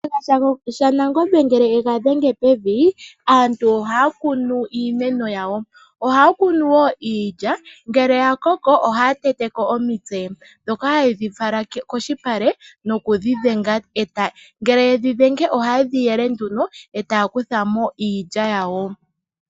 Shiyenga shaNangombe ngele ega dhenge pevi aantu ohaya kunu iimeno yawo. Ohay kunu wo iilya ngele yakoko ohaya teteko omitse ndhoka hayedhi fala kolupale nokudhenga. Ngele dha dhengwa iilya ohayi yelwa opo yizemo metutu none.